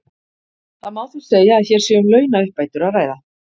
Það má því segja að hér sé um launauppbætur að ræða.